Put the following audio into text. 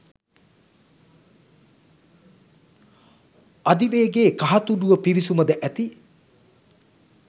අධිවේගේ කහතුඩුව පිවිසුම ද ඇති